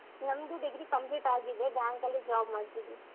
ನಂದು degree complete ಆಗಿದೆ bank ಅಲ್ಲಿ job ಮಾಡ್ತಾ ಇದ್ದೀನಿ.